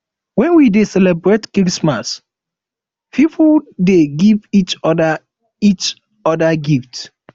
wen we dey celebrate christmas pipo dey give each give each odir gift